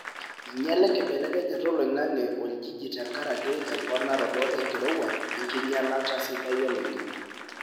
inyiala enkibelekenyata oloingange oljiji tenkaraki emponaroto enkirowuaj wenkinyialata sidai oloingange.